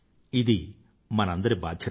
ఇది మనందరి బాధ్యత